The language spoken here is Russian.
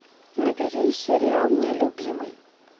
набери сериал нелюбимый